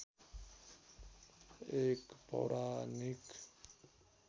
एक पौराणिक